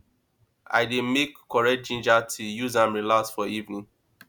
i dey make correct ginger tea use am relax for evening